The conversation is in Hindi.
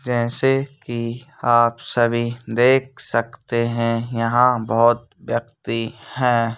जैसे कि आप सभी देख सकते हैं यहां बहुत व्यक्ति है।